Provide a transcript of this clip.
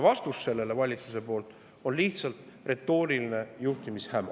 Valitsuse vastus sellele on lihtsalt retooriline juhtimishäma.